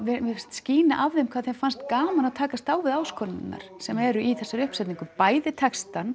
skína af þeim hvað þeim fannst gaman að takast á við áskoranirnar sem eru í þessari uppsetningu bæði textann